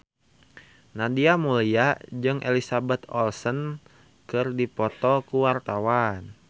Nadia Mulya jeung Elizabeth Olsen keur dipoto ku wartawan